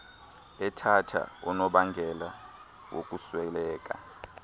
ethatha unobangela wokusweleka